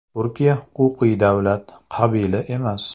Turkiya huquqiy davlat, qabila emas.